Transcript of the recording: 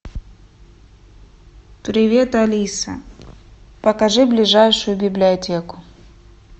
привет алиса покажи ближайшую библиотеку